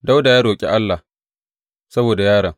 Dawuda ya roƙi Allah saboda yaron.